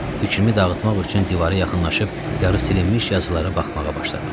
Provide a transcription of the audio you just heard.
Fikrimi dağıtmaq üçün divara yaxınlaşıb yarı silinmiş yazılara baxmağa başladım.